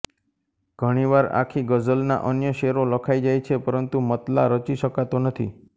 ઘણી વાર આખી ગઝલના અન્ય શેરો લખાઈ જાય છે પરંતુ મત્લા રચી શકાતો નથી